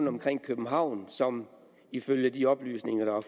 omkring københavn som ifølge de oplysninger